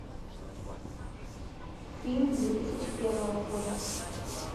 фильм две тысячи первого года